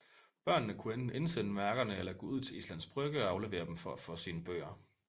Børnene kunne enten indsende mærkerne eller gå ud til Islands Brygge og aflevere dem for at få sine bøger